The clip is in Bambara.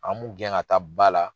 An b'u gɛn ka taa ba la